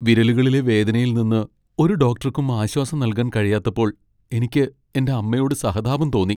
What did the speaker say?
വിരലുകളിലെ വേദനയിൽ നിന്ന് ഒരു ഡോക്ടർക്കും ആശ്വാസം നൽകാൻ കഴിയാത്തപ്പോൾ എനിക്ക് എന്റെ അമ്മയോട് സഹതാപം തോന്നി.